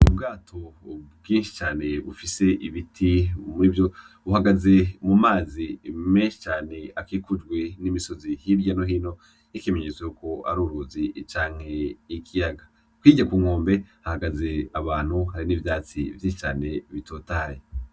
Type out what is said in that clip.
Ubwato bwinshi cane bufise ibiti muri vyo. Buhagaze mu mazi menshi cane akikujwe n'imisozi hirya no hino, ikimenyetso yuko ari uruzi canke ikiyaga. hirya ku nkombe hahagaze abantu, hari n'ivyatsi vyinshi bitotahaye.